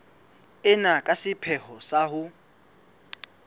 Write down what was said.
ena ka sepheo sa ho